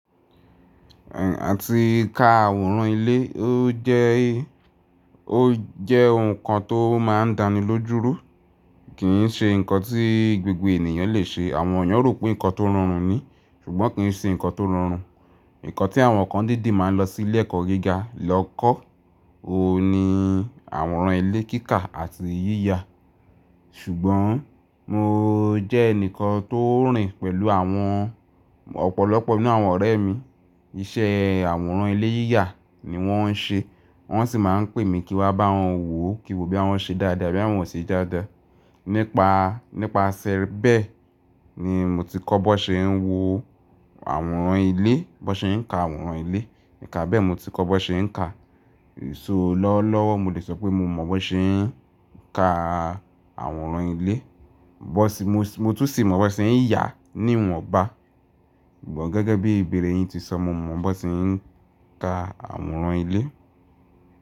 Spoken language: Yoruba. Àti ka àwòrán ilé, ó jẹ́, ó jẹ́ nǹkan tó máa ń dani lójú rú, kì ń ṣe nǹkan tí gbogbo ènìyàn lè ṣe. Àwọn èeyan rò pé nǹkan tó rọrùn ni, ṣùgbọ́n kì ń ṣe nǹkan tó rọrùn. Nǹkan tí àwọn kan dídi máa ń lọ sí ilé ẹ̀kọ́ gíga lọ kọ́, ó ní àwòrán ilé kíkà àti yíya. Ṣùgbọ́n mo jẹ́ ẹnìkan tó rìn pẹ̀lú àwọn ọ̀pọ̀lọpọ̀ nínú àwọn ọ̀rẹ́ mi. Iṣẹ́ àwòrán ilé yíya ni wọ́n ń ṣe, wọ́n sì máa ń pè mi kí wá bá wọn wò kí wò bí wọ́n ṣe dáadáa bí wọ́n ṣe jáda. Nípa, nípa ṣẹẹrẹ bẹ́ẹ̀ ni mo ti kọ́ bó ṣe ń wo àwòrán ilé, bó ṣe ń ka àwòrán ilé. Níka bẹ́ẹ̀ mo ti kọ́ bó ṣe ń ka. So lọ́lọ́wọ́ mo lè sọ pé mo mọ bó ṣe ń ka àwòrán ilé, bó ṣe, mo, mo tún sì mọ bó ṣe ń yà níwọ̀n bá. Ṣùgbọ́n gẹ́gẹ́ bí ìbéèrè yín ti sọ, mo mọ bó ṣe ń ka àwòrán ilé.